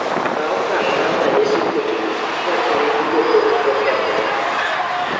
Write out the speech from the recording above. kaw okang' mar ranyisi kudni kaa cham dudo pok okethre